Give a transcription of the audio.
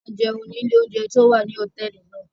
A jẹun ni ile ounjẹ ti o wa ninu hotẹẹli náa